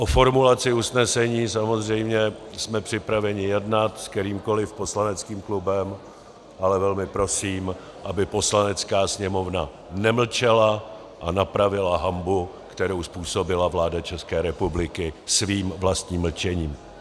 O formulaci usnesení samozřejmě jsme připraveni jednat s kterýmkoliv poslaneckým klubem, ale velmi prosím, aby Poslanecká sněmovna nemlčela a napravila hanbu, kterou způsobila vláda České republiky svým vlastním mlčením.